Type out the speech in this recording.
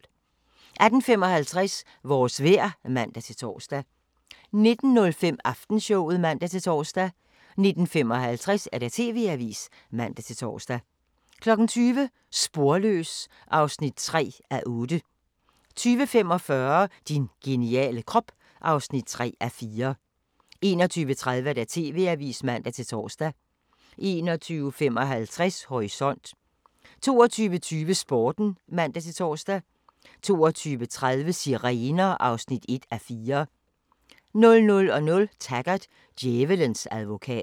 18:55: Vores vejr (man-tor) 19:05: Aftenshowet (man-tor) 19:55: TV-avisen (man-tor) 20:00: Sporløs (3:8) 20:45: Din geniale krop (3:4) 21:30: TV-avisen (man-tor) 21:55: Horisont 22:20: Sporten (man-tor) 22:30: Sirener (1:4) 00:00: Taggart: Djævelens advokat